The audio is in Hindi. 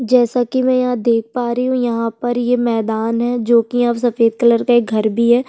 जैसे की मैं यहाँ पर देख पा रही हूं यहाँ पर ये मैदान है जो की यहाँ सफेद कलर का एक घर भी है।